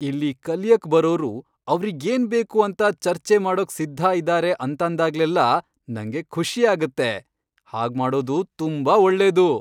ಇಲ್ಲಿ ಕಲಿಯಕ್ ಬರೋರು ಅವ್ರಿಗೇನ್ ಬೇಕು ಅಂತ ಚರ್ಚೆ ಮಾಡೋಕ್ ಸಿದ್ಧ ಇದಾರೆ ಅಂತಾಂದಾಗ್ಲೆಲ್ಲ ನಂಗೆ ಖುಷಿಯಾಗತ್ತೆ, ಹಾಗ್ಮಾಡೋದು ತುಂಬಾ ಒಳ್ಳೇದು.